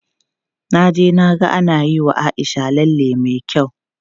Na je na ga ana yiwa Aisha lalle me kyau.